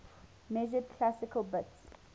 measured classical bits